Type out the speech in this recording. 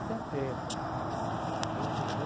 Setenta. Nos anos seten